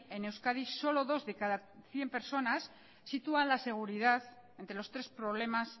en euskadi solo dos de cada cien personas sitúan la seguridad entre los tres problemas